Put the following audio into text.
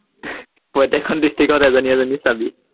প্ৰত্য়েকখন ডিচট্ৰিক্টত এজনী এজনী চাবি